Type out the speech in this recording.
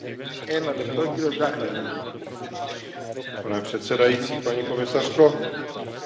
Mezinárodní atmosféra není moc příznivě naladěna volnému obchodu.